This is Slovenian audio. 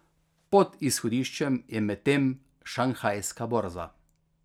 Pod izhodiščem je medtem šanghajska borza.